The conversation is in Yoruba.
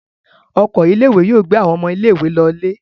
Ọkọ̀ ilé-ìwé yóò gbé àwọn ọmọ ilé-ìwé lọlé.